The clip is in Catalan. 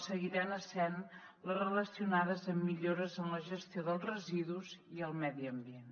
seguiran essent les relacionades amb millores en la gestió dels residus i el medi ambient